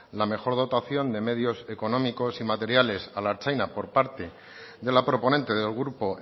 la mejor dotación de medios económicos y materiales a la ertzaintza por parte de la proponente del grupo